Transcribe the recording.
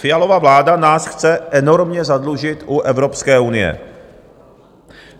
Fialova vláda nás chce enormně zadlužit u Evropské unie.